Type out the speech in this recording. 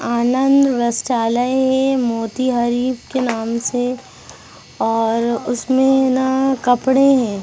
आनंद वस्त्रालय है मोतिहारी के नाम से और उसमें ना कपड़े हैं।